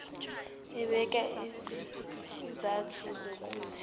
ebeka izizathu zokuthi